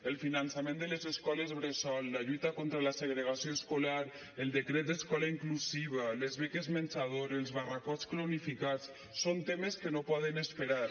el finançament de les escoles bressol la lluita contra la segregació escolar el decret d’escola inclusiva les beques menjador els barracots cronificats són temes que no poden esperar